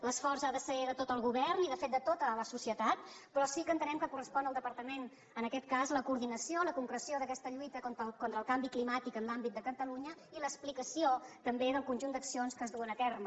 l’esforç ha de ser de tot el govern i de fet de tota la societat però sí que entenem que correspon al departament en aquest cas la coordinació la concreció d’aquesta lluita contra el canvi climàtic en l’àmbit de catalunya i l’explicació també del conjunt d’accions que es duen a terme